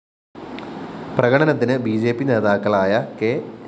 പ്രകടനത്തിന് B J P നേതാക്കളായ K